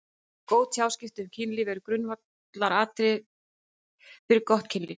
Góð tjáskipti um kynlíf eru grundvallaratriði fyrir gott kynlíf.